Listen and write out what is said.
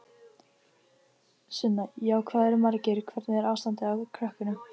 Sunna: Já, hvað eru margir, hvernig er ástandið á krökkunum?